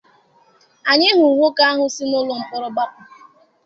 Anyị hụrụ nwoke ahụ si n'ụlọ mkpọrọ gbapụ.